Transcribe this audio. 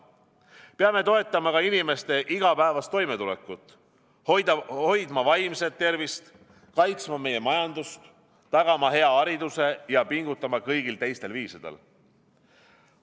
Peame toetama ka inimeste igapäevast toimetulekut, hoidma vaimset tervist, kaitsma meie majandust, tagama hea hariduse ja pingutama kõigil teistel viisidel.